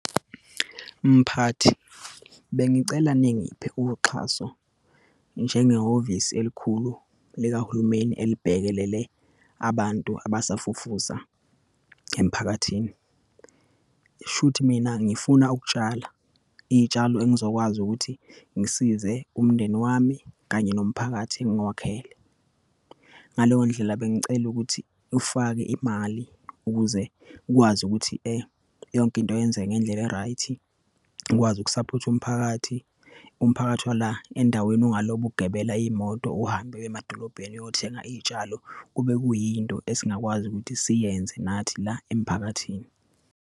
Mphathi, bengicela ningiphe uxhaso njengehhovisi elikhulu likahulumeni elibhekelele abantu abasafufusa emphakathini. Shuthi mina ngifuna ukutshala iyitshalo engizokwazi ukuthi ngisize umndeni wami, kanye nomphakathi engiwakhele. Ngaleyo ndlela, bengicela ukuthi ufake imali ukuze ukwazi ukuthi yonke into yenzeke ngendlela e-right-i. Ikwazi ukusaphotha umphakathi. Umphakathi wala endaweni ungalobo ugibela iyimoto uhambe uye emadolobheni uyothenga iyitshalo. Kube kuyinto esingakwazi ukuthi siyenze nathi la emphakathini.